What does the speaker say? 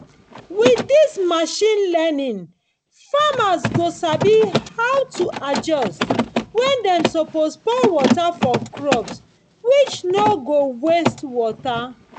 with this machine learningfarmers go sabi how to adjust when dem suppose pour water for crop which no go waste water